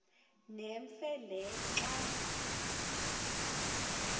nemfe le xa